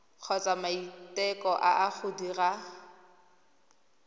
kgotsa maiteko a go dira